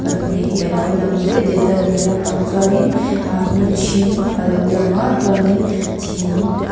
pahnih hi a lo lang det det a hnuai lampang chuanin aaa hnim hring a lo lang a chuanin thing --